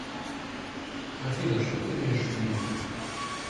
афина что ты имеешь ввиду